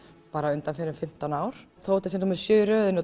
undanfarin fimmtán ár þó þetta sé númer sjö í röðinni